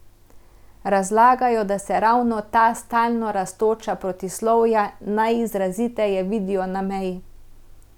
Razlagajo, da se ravno ta stalno rastoča protislovja najizraziteje vidijo na meji.